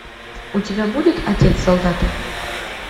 у тебя будет отец солдата